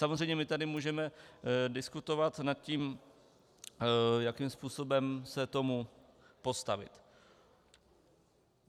Samozřejmě my tady můžeme diskutovat nad tím, jakým způsobem se tomu postavit.